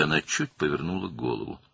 Və o, başını bir az çevirdi.